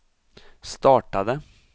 startade